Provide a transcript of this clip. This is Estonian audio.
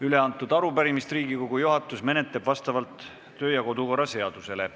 Üleantud arupärimist menetleb Riigikogu juhatus vastavalt kodu- ja töökorra seadusele.